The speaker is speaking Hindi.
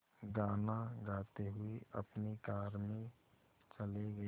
गाना गाते हुए अपनी कार में चले गए